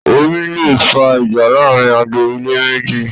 Omi leè fa ìjà láàrin agbo-ilé méjì